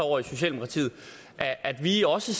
over i socialdemokratiet at vi også